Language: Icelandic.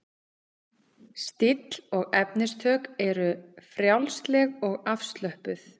Stíll og efnistök eru frjálsleg og afslöppuð.